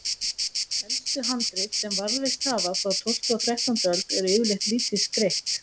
Elstu handrit sem varðveist hafa, frá tólftu og þrettándu öld, eru yfirleitt lítið skreytt.